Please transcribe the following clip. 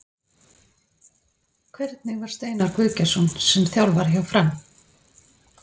Hvernig var Steinar Guðgeirsson sem þjálfari hjá Fram?